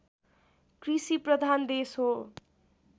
कृषिप्रधान देश हो